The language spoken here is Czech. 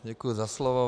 Děkuji za slovo.